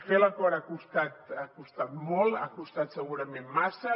fer l’acord ha costat molt ha costat segurament massa